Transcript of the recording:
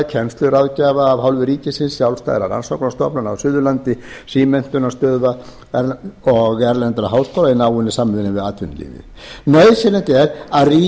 kennsluráðgjafa af hálfu ríkisins sjálfstæðra rannsóknarstofnana á suðurlandi símenntunarmiðstöðva og erlendra háskóla í náinni samvinnu við atvinnulífið nauðsynlegt er